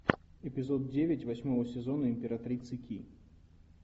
эпизод девять восьмого сезона императрицы ки